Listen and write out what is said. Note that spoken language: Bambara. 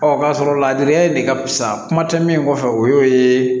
Ɔ k'a sɔrɔ ladili de ka fisa kuma tɛ min kɔfɛ o y'o ye